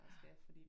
Ja